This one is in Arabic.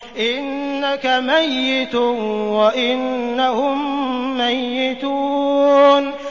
إِنَّكَ مَيِّتٌ وَإِنَّهُم مَّيِّتُونَ